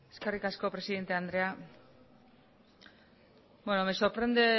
eskerrik asko presidente andrea me sorprende